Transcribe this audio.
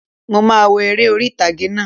Mo máà wo eré orí ìtàgé náà